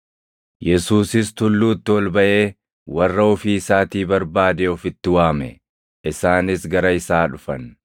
Yesuusis tulluutti ol baʼee warra ofii isaatii barbaade ofitti waame; isaanis gara isaa dhufan.